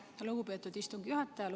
Aitäh, lugupeetud istungi juhataja!